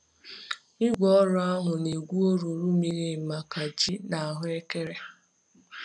Igwe ọrụ ahụ na-egwu olulu miri emi maka ji na ahuekere.